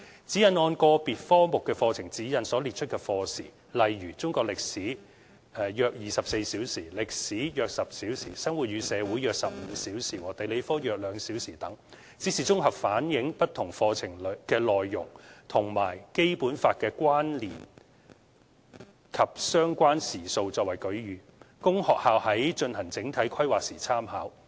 《指引》按個別科目的課程指引所列出的課時，例如中國歷史、歷史、生活與社會和地理科等，只是綜合反映不同課程內容與《基本法》的關聯及相關時數作為舉隅，供學校在進行整體規劃時參考。